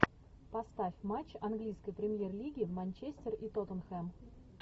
поставь матч английской премьер лиги манчестер и тоттенхэм